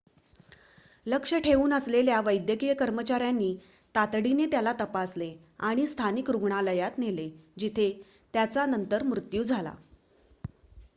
लक्ष ठेऊन असलेल्या वैद्यकीय कर्मचाऱ्यांनी तातडीने त्याला तपासले आणि स्थानिक रुग्णालयात नेले जिथे त्याचा नंतर मृत्यू झाला